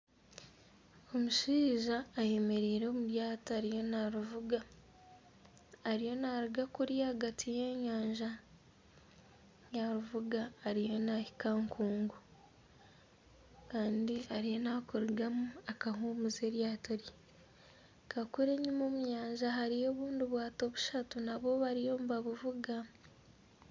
Omushaija ayemereire omuryato ariyo ariyo narivuga ariyo naruga kuriya ahagati y'enyanja yarivuga ariyo nahika aha nkungu Kandi ariyo nakurugamu akahumuza eryato rye nkakuriya omunyanja hariyo obwato bushatu nabwo bariyo nibabuvuga